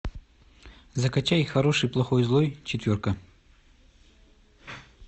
закачай хороший плохой злой четверка